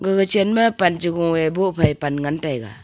gaga chenma pan cha gung ee boh phai pan ngantaiga.